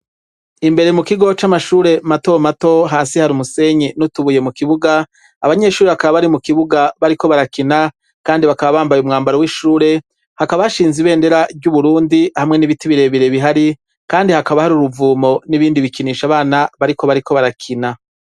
Imbere mu kigo c'amashure mato mato hasi hari umusenyi n'utubuye mu kibuga abanyeshuri bakaba bari mu kibuga bariko barakina kandi bakaba bambaye umwambaro w'ishure hakaba hashinze ibendera ry'uburundi hamwe n'ibiti bire bire bihari kandi hakaba hari uruvumo n'ibindi bikinisha abana bariko barakina.